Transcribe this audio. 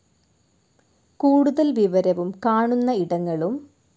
കൂടുതൽ വിവരവും കാണുന്ന ഇടങ്ങളും